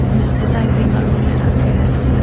एकसर साइजिंग आरो ले राखो है बी पर